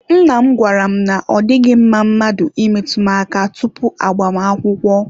Nna m gwara m na ọ dịghị mma mmadụ imetụ m aka tupu agbamakwụkwọ.